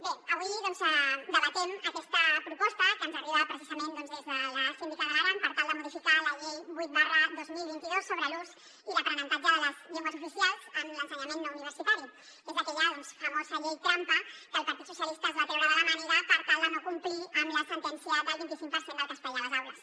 bé avui doncs debatem aquesta proposta que ens arriba precisament des de la síndica d’aran per tal de modificar la llei vuit dos mil vint dos sobre l’ús i l’aprenentatge de les llengües oficials en l’ensenyament no universitari que és aquella famosa llei trampa que el partit socialistes es va treure de la màniga per tal de no complir amb la sentència del vinticinc per cent del castellà a les aules